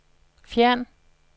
fjern